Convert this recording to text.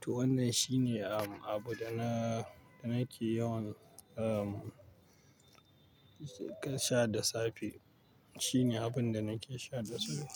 To wannan shi ne, um, abu da na, da nake yawan, um, sha da safe. Shi ne abin da nake sha da safe.